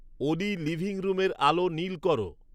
অলি living রুমের আলো নীল কর